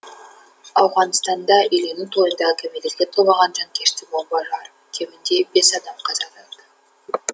ауғанстанда үйлену тойында кәмелетке толмаған жанкешті бомба жарып кемінде бес адам қаза тапты